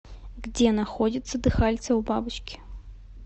где находятся дыхальца у бабочки